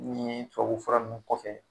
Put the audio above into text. N'i ye tubabufura nun kɔfɛ.